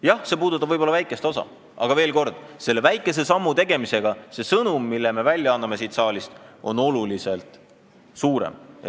Jah, see puudutab võib-olla väikest osa, aga veel kord: selle väikese sammu tegemisega antakse siit saalist sõnum, mis on oluliselt suurem.